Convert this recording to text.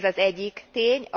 Ez az egyik tény.